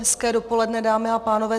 Hezké dopoledne, dámy a pánové.